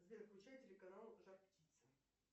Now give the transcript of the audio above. сбер включай телеканал жар птица